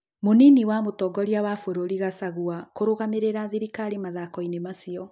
Mũnini wa mũtongorĩa wa bũrũri Gacagua kũrũgamĩrĩra thirikari mathikoinĩ macio.